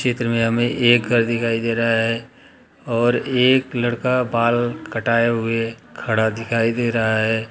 चित्र में हमें एक घर दिखाई दे रहा है और एक लड़का बाल कटाए हुए खड़ा दिखाई दे रहा है।